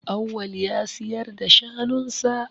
Awwal ya siyar da shanun sa.